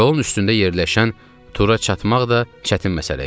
Yolun üstündə yerləşən Tura çatmaq da çətin məsələ idi.